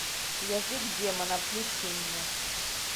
язык демона включи мне